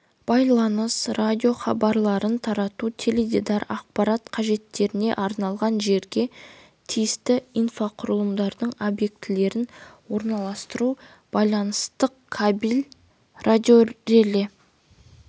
байланыс радио хабарларын тарату теледидар ақпарат қажеттеріне арналған жерге тиісті инфрақұрылымдардың объектілерін орналастыру байланыстың кабель радиореле